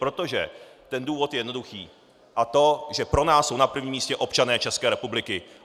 Protože ten důvod je jednoduchý, a to že pro nás jsou na prvním místě občané České republiky.